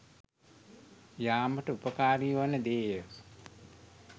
යාමට උපකාරි වන දේය.